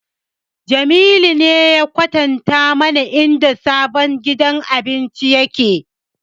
Jamilu ne ya kwatanta mana inda sabon gidan abincin yake